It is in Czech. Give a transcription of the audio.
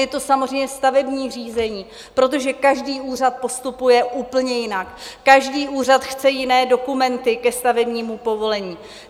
Je to samozřejmě stavební řízení, protože každý úřad postupuje úplně jinak, každý úřad chce jiné dokumenty ke stavebnímu povolení.